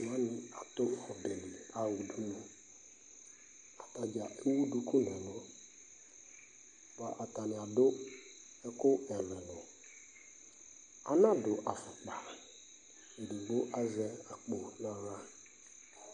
Eviɖze wani atʋ ɔbɛli yaha udunu, atadzaa ewu duku n'ɛlʋ, bua atani adʋ ɛkʋ ɛlʋ ɛlʋ, ana dʋ afʋkpa, edigbo azɛ akpɔ n'aɣla